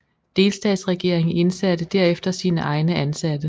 Delstatsregeringen indsatte derefter sine egne ansatte